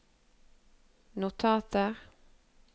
notater